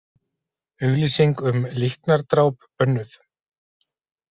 Auglýsing um líknardráp bönnuð